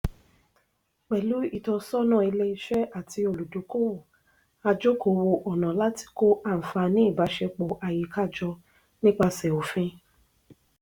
pẹ̀lú ìtọ́sọ́nà ilé-iṣẹ́ àti olùdókòwò a jòkó wo ọ̀nà láti kó ànfààní ìbáṣepọ̀ àyíká jọ nípasẹ̀ òfin.